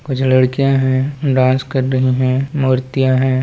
जो लड़कियां है डांस कर रही है मूर्तियां है।